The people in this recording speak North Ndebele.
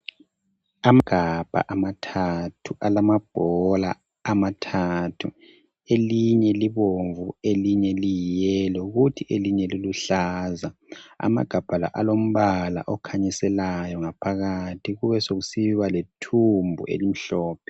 Amagabha amathathu alamabhola amathathu elinye libomvu elinye liyiyelo kuthi elinye liluhlaza. Amagabha la alombala okhanyiselayo ngaphakathi kube sekusiba lethumbu elimhlophe.